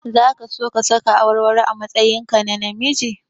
Zaka so ka saka awarwaro a matsayinka na namiji?